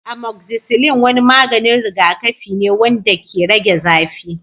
Amoxicillin wani maganin rigakafi ne wanda ke rage zafi.